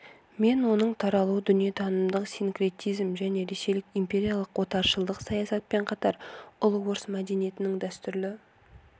мен оның таралуы дүниетанымдық синкретизм және ресейлік империялық отаршылдық саясатпен қатар ұлы орыс мәдениетінің дәстүрлі